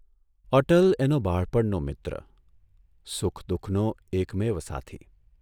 અટલ એનો બાળપણનો મિત્ર, સુખ દુઃખનો એકમેવ સાથી.